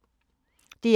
DR1